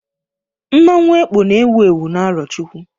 Mmanwu Ekpo na ewu ewu n'Arochukwu